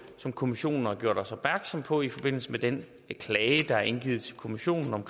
som kommissionen har gjort os opmærksom på i forbindelse med den klage der er indgivet til kommissionen om